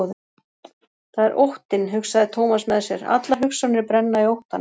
Það er óttinn, hugsaði Thomas með sér, allar hugsjónir brenna í óttanum.